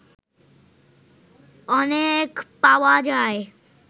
অনেক পাওয়া যায়